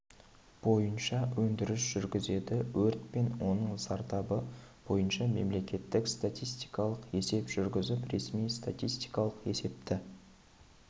бойынша өндіріс жүргізеді өрт пен оның зардабы бойынша мемлекеттік статистикалық есеп жүргізіп ресми статистикалық есепті